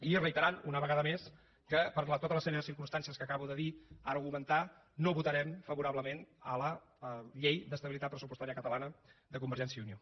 i reiterant una vegada més que per tota la sèrie de circumstàncies que acabo de dir argumentar no votarem favorablement a la llei d’estabilitat pressupostària catalana de convergència i unió